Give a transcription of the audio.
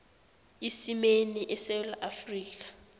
isimeni esewula afrika